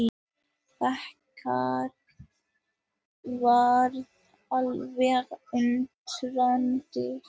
Bakarinn varð alveg undrandi.